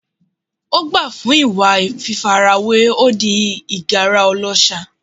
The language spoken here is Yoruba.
Ó gbà fún ìwà fífarawé, ó di ìgárá ọlọ́ṣà.